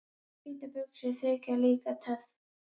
Hvítar buxur þykja líka töff.